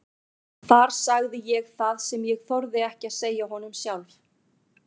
Þar sagði ég það sem ég þorði ekki að segja honum sjálf.